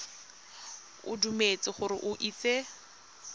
o dumetse gore o itse